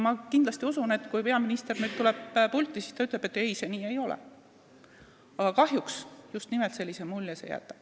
Ma usun, et kui peaminister tuleb siia pulti, siis ta ütleb, et ei, nii see ei ole, aga kahjuks just nimelt sellise mulje see kõik jätab.